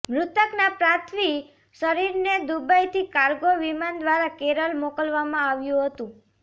મૃતકના પાર્થિવ શરીરને દુબઈથી કાર્ગો વિમાન દ્વારા કેરળ મોકલવામાં આવ્યું હતું